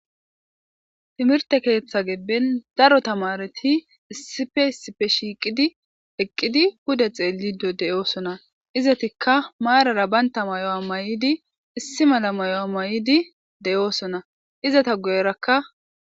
Timirte keeththa gibben daro tamareti issife issife shiiqidi eqqidi hude xeelido de7oosona izatikka maarara baynta mayo7a may7idi issi mala mayo a may7idi deyoosona izata guyerakka.